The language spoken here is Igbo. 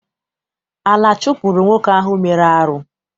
Ala chụpụrụ nwoke ahụ mere arụ.